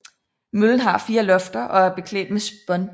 Møllen har fire lofter og er beklædt med spån